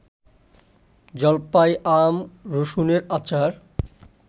জলপাই, আম, রসুনের আচার